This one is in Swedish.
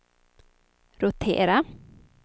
rotera